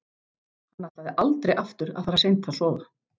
Hann ætlaði aldrei aftur að fara seint að sofa.